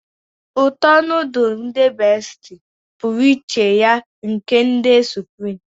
uto nudulu ndi besitie puru iche ye nke ndi supireme